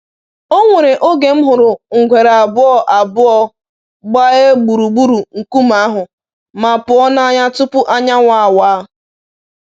Onwere oge m hụrụ ngwere abụọ abụọ gbaea gburugburu nkume ahụ, ma pụọ n'anya tupu anyanwụ awa.